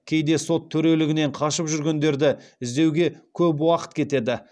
кейде сот төрелігінен қашып жүргендерді іздеуге көп уақыт кетеді